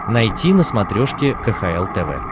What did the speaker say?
найти на смотрешке кхл тв